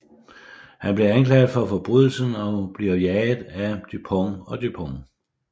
Han bliver anklaget for forbrydelsen og bliver jaget af Dupond og Dupont